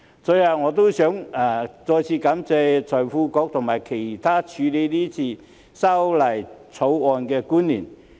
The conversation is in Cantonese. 最後，我想再次感謝財經事務及庫務局局長及其他處理《條例草案》的官員。